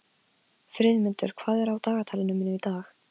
Friðmundur, hvað er á dagatalinu mínu í dag?